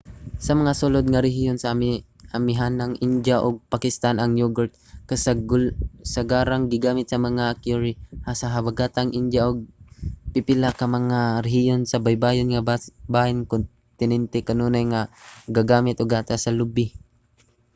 sa mga sulud nga rehiyon sa amihanang india ug pakistan ang yogurt kasagarang gigamit sa mga curry; sa habagatang india ug pipila pa nga mga rehiyon sa baybayon nga bahin sa kontinente kanunay nga gagamit ug gatas sa lubi